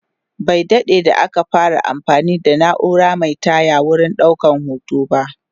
Bai daɗe da aka fara anfani da naura Mai taya wurin ɗaukan hoto ba